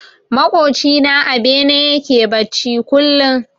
Maƙoci na a bene yake bacci kullum.